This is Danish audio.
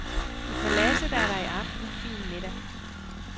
I paladset er der i aften fin middag.